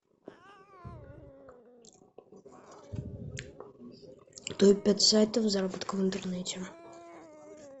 топ пять сайтов заработка в интернете